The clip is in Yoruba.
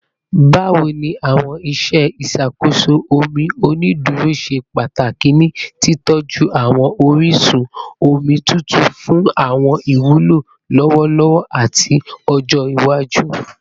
Bawo ni awọn iṣe iṣakoso omi oniduro ṣe pataki ni titọju awọn orisun omi tutu fun awọn iwulo lọwọlọwọ ati ọjọ iwaju?